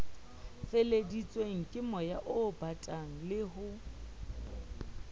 feleheditsweng kemoya obatang le ho